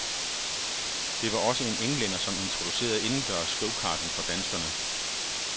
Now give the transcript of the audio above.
Det var også en englænder, som introducerede indendørs gokarting for danskerne.